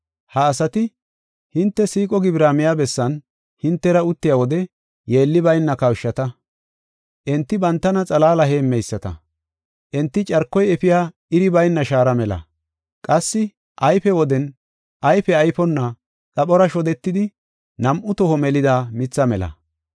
Ha asati, hinte siiqo gibira miya bessan hintera uttiya wode yeelli bayna kawushata. Enti bantana xalaala heemmeyisata. Enti carkoy efiya iri bayna shaara mela. Qassi ayfe woden ayfe ayfonna, xaphora shodetidi, nam7u toho melida mitha mela.